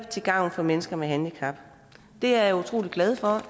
til gavn for mennesker med handicap det er jeg utrolig glad for